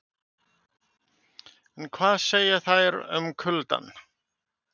En hvað segja þær um kuldann?